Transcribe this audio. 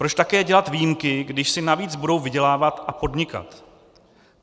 Proč také dělat výjimky, když si navíc budou vydělávat a podnikat?